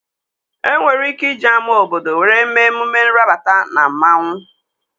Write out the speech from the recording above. E nwere ike iji ama obodo were mee emume nrabata na mmanwu